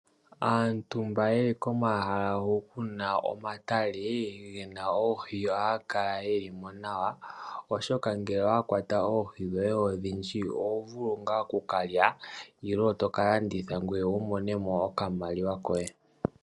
Aantu mboka ye li komahala hu kuna omatale, gena oohi oha ya kala yelimo nawa, oshoka ngele owa kwata oohi dhoye odhindji oho vulu ngaa okukalya nenge to ka landitha ngoye wu mone mo okamaliwa koye.